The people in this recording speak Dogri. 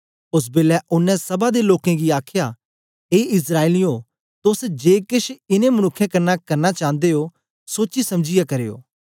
ओस बेलै ओनें सभा दे लोकें गी आखया ए इस्राएलियें तोस जे केछ इनें मनुक्खें कन्ने करना चांदे ओ सोची समझीयै करयो